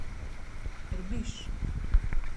Trbiž.